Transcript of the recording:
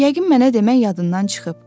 Yəqin mənə demək yadından çıxıb.